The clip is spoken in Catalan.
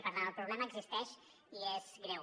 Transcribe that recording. per tant el problema existeix i és greu